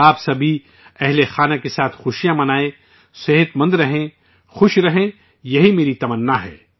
آپ سبھی فیملی سمیت خوشیاں منائیں، صحت مند رہیں، مزے میں رہیں، یہی میری تمنا ہے